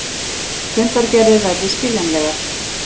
Fundargerðir verði skiljanlegar